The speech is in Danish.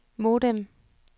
modem